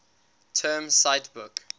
term cite book